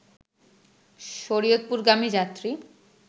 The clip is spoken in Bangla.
শরীয়তপুরগামী যাত্রী